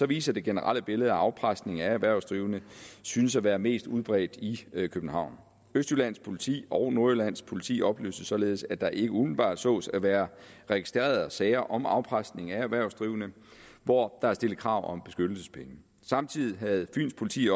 viser det generelle billede at afpresning af erhvervsdrivende synes at være mest udbredt i københavn østjyllands politi og nordjyllands politi oplyste således at der ikke umiddelbart sås at være registrerede sager om afpresning af erhvervsdrivende hvor der var stillet krav om beskyttelsespenge samtidig havde fyens politi